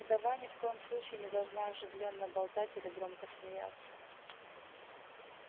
вдова ни в коем случае не должна оживлённо болтать или громко смеяться